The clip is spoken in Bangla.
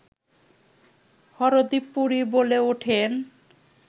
হরদীপ পুরী বলে ওঠেন